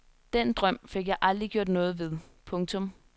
Den drøm fik jeg aldrig gjort noget ved. punktum